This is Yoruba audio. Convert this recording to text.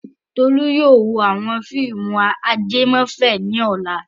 Tolú yóò wo àwọn fíìmù ajẹmọ́fẹ̀ẹ́ nìkan lọ́la.